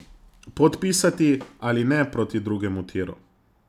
Podpisati ali ne proti drugemu tiru?